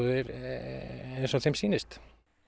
eins og þeim sýnist